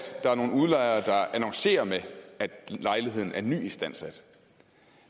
der er nogle udlejere der annoncerer med at lejligheden er nyistandsat